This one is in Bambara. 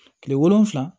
Tile wolonwula